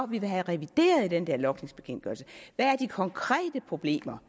vi vil have revideret i den der logningsbekendtgørelse hvad er de konkrete problemer